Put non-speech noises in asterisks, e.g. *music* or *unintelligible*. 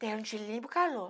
Tem *unintelligible* calor.